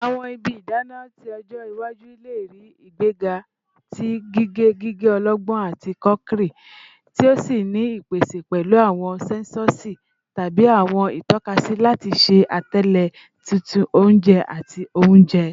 Awọn ibi idana ti ọjọ iwaju le rii igbega ti gige gige ọlọgbọn ati crockery, ti o ni ipese pẹlu awọn sensosi tabi awọn itọkasi lati ṣe atẹle titun ounje ati ounjẹ.